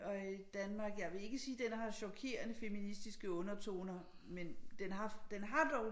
Og i Danmark jeg vil ikke sige den har chokerende feministiske undertoner men den har den har dog